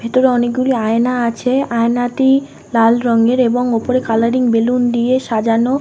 ভেতরে অনেকগুলি আয়না আছে। আয়নাটি লাল রঙের এবং ওপরে কালারিং বেলুন দিয়ে সাজানো।